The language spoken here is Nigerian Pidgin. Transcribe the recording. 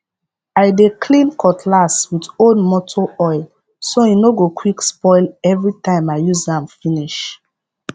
i dey clean cutlass with old moto oil so hin no go quick spoil everytime i use am finish